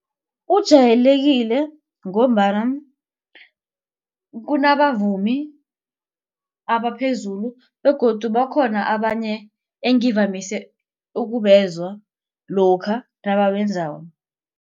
Ujayekileko ngombana kunabavumi abaphezulu begodu bakhona abanye engivamise ukubezwa lokha nabawenzako.